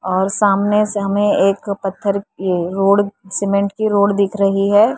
और सामने से हमें एक पत्थर ये रोड सीमेंट की रोड दिख रही है।